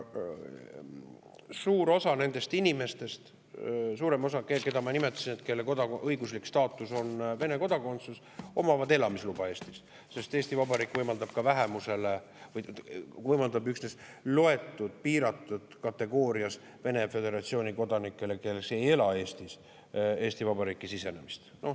Suur osa nendest inimestest, suurem osa, keda ma nimetasin, kelle õiguslik staatus on Vene kodakondsus, omavad Eesti elamisluba, sest Eesti Vabariik võimaldab üksnes piiratud kategoorias Venemaa Föderatsiooni kodanikele, kes ei ela Eestis, Eesti Vabariiki sisenemist.